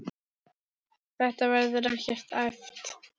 Þetta verður ekkert æft.